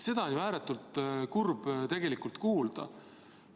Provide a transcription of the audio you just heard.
Seda on tegelikult ju ääretult kurb kuulda.